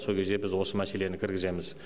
сол кезде біз осы мәселені кіргіземіз